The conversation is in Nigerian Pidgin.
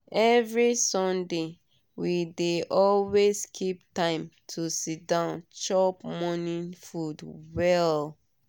every sunday we dey always keep time to siddon chop morning food well.